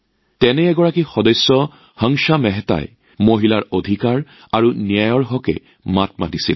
তেনে এগৰাকী সদস্য আছিল হংস মেহতা জী যিয়ে নাৰীৰ অধিকাৰ আৰু ন্যায়ৰ স্বাৰ্থত মাত মাতিছিল